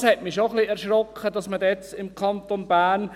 Es hat mich schon ein wenig erschreckt, dass man im Kanton Bern …